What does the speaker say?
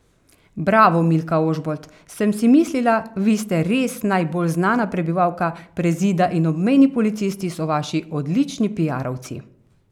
Bravo, Milka Ožbolt, sem si mislila, vi ste res najbolj znana prebivalka Prezida in obmejni policisti so vaši odlični piarovci.